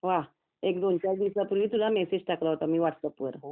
वाह एक दोन चार दिवसापूर्वी एक मेसेज टाकला होता मी तुला व्हाट्सअप वर